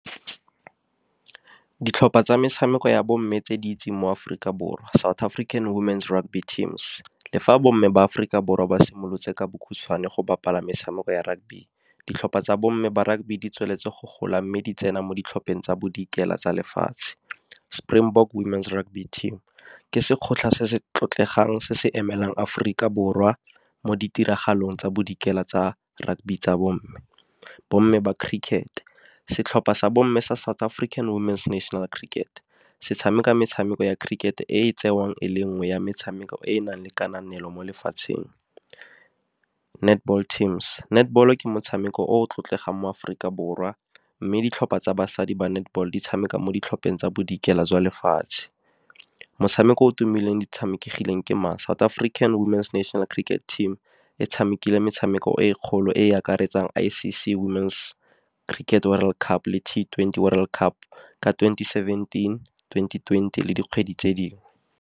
Ditlhopha tsa metshameko ya bomme tse di itseng mo Aforika Borwa, South African Women Rugby Teams. Le fa bomme ba Aforika Borwa ba simolotse ka bokhutshwane go bapala metshameko ya rugby, ditlhopha tsa bomme ba rugby di tsweletse go gola mme di tsena mo ditlhopheng tsa Bodikela tsa lefatshe. Springbok Woman Rugby Team ke se se tlotlegang se se emelang Aforika Borwa mo ditiragalong tsa Bodikela tsa rugby tsa bomme. Bomme ba cricket, setlhopha sa bomme sa South African Women National Cricket, se tshameka metshameko ya cricket e e tsewang e le nngwe ya metshameko e e nang le kananelo mo lefatsheng. Netball teams, netball ke motshameko o o tlotlegang mo Aforika Borwa, mme ditlhopha tsa basadi ba netball di tshameka mo ditlhopheng tsa Bodikela jwa lefatshe. Motshameko o o tumileng ditshamekegileng ke mang South African Womans National Cricket Team e tshamekile metshameko e kgolo e e akaretsang I_C_C Woman's Cricket World Cup le T twenty World Cup, ka twenty-seventeen, twenty twenty le dikgwedi tse dingwe.